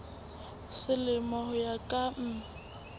selemo ho ya ka mm